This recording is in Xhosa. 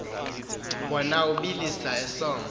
wona ubila esoma